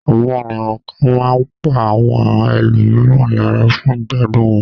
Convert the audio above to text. Àwọn ènìyàn kan máa ń pa àwọn ẹlòmíràn lára fún ìgbádùn wọn.